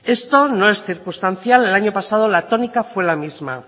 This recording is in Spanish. esto no es circunstancial el año pasado la tónica fue la misma